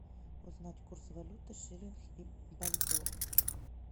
узнать курс валюты шиллинг и бальбоа